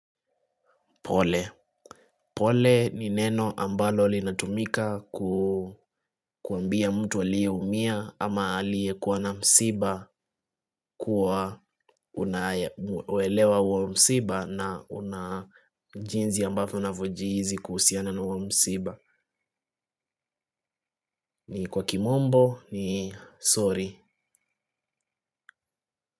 Pole ni neno ambalo linatumika kuambia mtu aliyeumia ama aliyekuwa na msiba kuwa waelewa huo msiba na una jinsi ambavyo unavyojihisi kuhusiana na huo msiba. Ni kwa kimombo ni sorry.